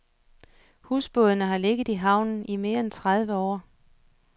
Husbådene har ligget i havnen i mere end tredive år.